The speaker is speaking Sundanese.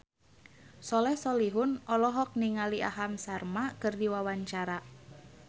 Soleh Solihun olohok ningali Aham Sharma keur diwawancara